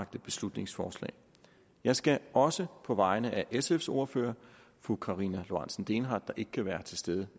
beslutningsforslag jeg skal også på vegne af sfs ordfører fru karina lorentzen dehnhardt der ikke kan være til stede